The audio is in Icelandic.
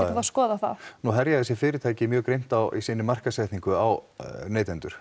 skoðað það nú herja þessi fyrirtæki mjög grimmt í sinni markaðssetningu á neytendur